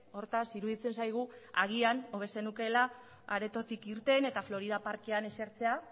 hortaz iruditzen zaigu agian hobe zenukeela aretotik irten eta florida parkean esertzea